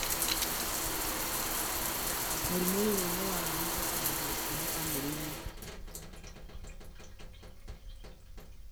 Mũrimũ wa kũheo beta hydroxysteroid dehydrogenase 3 nĩ mũrimũ wa kũgaĩrũo ũrĩa ũhutagia ũgimũ wa arũme.